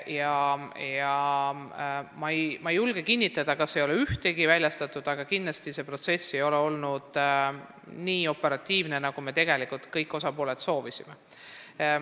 Ma ei julge kinnitada, kas ei ole ühtegi väljastatud, aga kindlasti ei ole see protsess olnud nii operatiivne, nagu kõik osapooled on tegelikult soovinud.